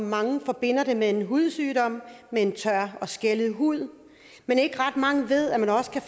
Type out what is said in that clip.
mange forbinder det med en hudsygdom med en tør og skællet hud men ikke ret mange ved at man også kan